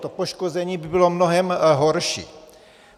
To poškození by bylo mnohem horší.